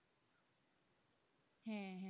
হ্যাঁ,